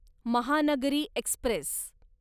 Mahanagari Express